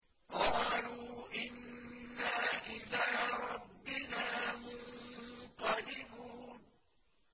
قَالُوا إِنَّا إِلَىٰ رَبِّنَا مُنقَلِبُونَ